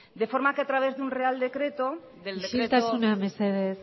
de forma que a través de un real decreto isiltasuna mesedez